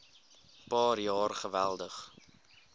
paar jaar geweldig